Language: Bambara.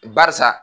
Barisa